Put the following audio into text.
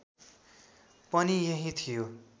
पनि यही थियो